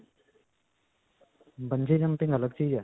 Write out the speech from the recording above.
bungee jumping ਅਲਗ ਚੀਜ਼ ਹੈ.